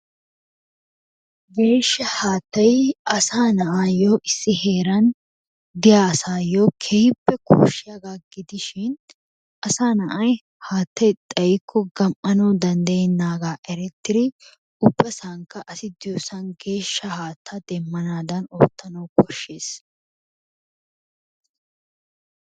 Geeshsha haattay asaa naa'ayyo issi heeran diya asayyo keehippe loshshiyaaga gidishin asaa naa'ay haattay xayyikko gam"anaw danddayenaaaga erettiri ubbasankka asi diyoosan geeshsha haatta demmanaddan oottanaw koshshees.